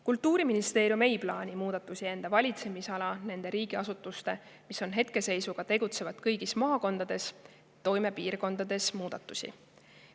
Kultuuriministeerium ei plaani muudatusi enda valitsemisala nende riigiasutuste, mis on hetkeseisuga tegutsevad kõigis maakondades, toimepiirkondades muudatusi.